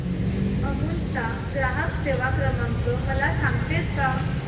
अमूल चा ग्राहक सेवा क्रमांक मला सांगतेस का